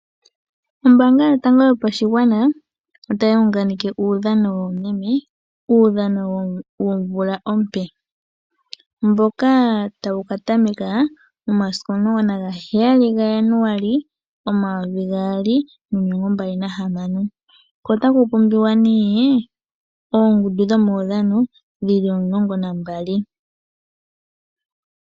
Ombaanga yotango yopashigwana otayi unganeke uudhano woomeme. Uudhano womvula ompe mboka tawu ka tameka momasiku omulongo na ga heyali ga Januali omayovi gaali nomilongo mbali na hamano. Ko otaku pumbiwa nee oongundu dhomaudhano dhi ki omulongo na mbali.